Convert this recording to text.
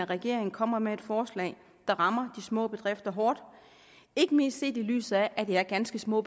regeringen kommer med et forslag der rammer de små bedrifter hårdt ikke mindst set i lyset af at det er ganske små